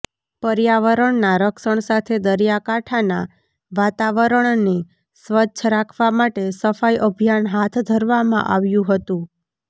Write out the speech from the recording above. પર્યાવરણના રક્ષણ સાથે દરિયાકાંઠાના વાતવરણને સ્વચ્છ રાખવા માટે સફાઈ અભિયાન હાથ ધરવામાં આવ્યું હતું